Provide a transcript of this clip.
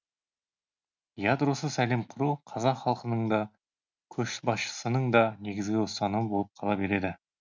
ядросыз әлем құру қазақ халқының да көшбасшысының да негізгі ұстанымы болып қала береді